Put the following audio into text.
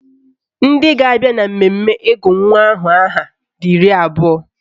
Ndị ga-abịa na mmemme ịgụ nwa aha ahụ dị iri abụọ